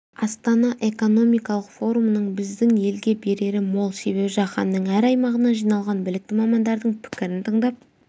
астана экономикалық форумының біздің елге берері мол себебі жаһанның әр аймағынан жиналған білікті мамандардың пікірін тыңдап